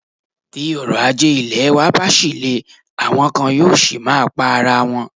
Tí òrọ̀ ajé ilẹ̀ wa bá ṣì le, àwọn kan yóò ṣì máa pa ara wọn.